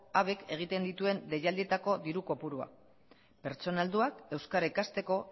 habek egiten dituen deialdietako diru kopuruak pertsona helduak euskara ikasteko